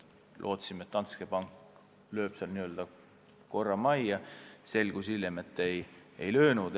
Lootsime, et Danske loob seal korra majja, hiljem selgus, et ei löönud.